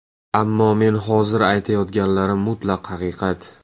Ammo men hozir aytayotganlarim mutlaq haqiqat.